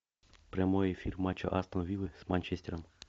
прямой эфир матча астон виллы с манчестером